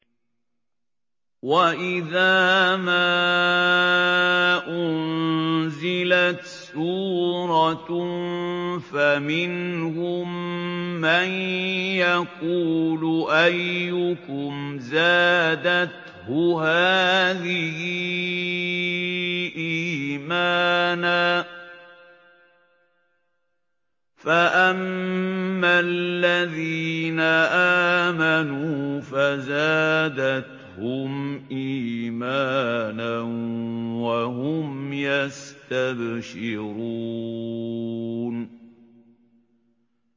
وَإِذَا مَا أُنزِلَتْ سُورَةٌ فَمِنْهُم مَّن يَقُولُ أَيُّكُمْ زَادَتْهُ هَٰذِهِ إِيمَانًا ۚ فَأَمَّا الَّذِينَ آمَنُوا فَزَادَتْهُمْ إِيمَانًا وَهُمْ يَسْتَبْشِرُونَ